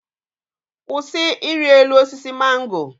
Kwụsị iri elu osisi mango!